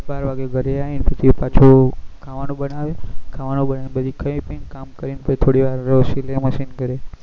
બાર વાગે ઘરે આવી ને પછી પાછુ ખાવાનું બનાવે ખાવાનું બનાવીં ન પછી ખાઈ પી ન કામ કરી ન થોડી વાર સિલાઈ મશીન કરે